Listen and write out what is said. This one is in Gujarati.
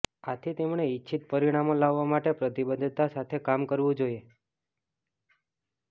આથી તેમણે ઇચ્છિત પરિણામો લાવવા માટે પ્રતિબદ્ધતા સાથે કામ કરવું જોઇએ